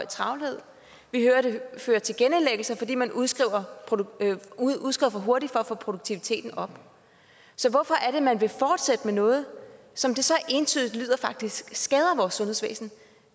travlhed vi hører det fører til genindlæggelser fordi man udskriver for hurtigt for at få produktiviteten op så hvorfor er det man vil fortsætte med noget som det så entydigt lyder faktisk skader vores sundhedsvæsen